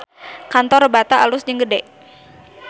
Kantor Bata alus jeung gede